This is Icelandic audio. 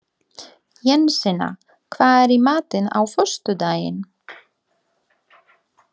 Jensína, hvað er í matinn á föstudaginn?